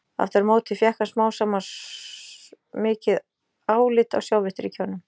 Aftur á móti fékk hann smám saman mikið álit á Sovétríkjunum.